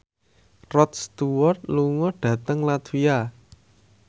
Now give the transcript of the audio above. Rod Stewart lunga dhateng latvia